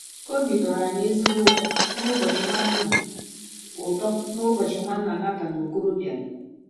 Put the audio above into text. Obi tọrọ anyị ezigbo ụtọ n’ụbọchị Nwanna ụtọ n’ụbọchị Nwanna Nathan Okoro bịara.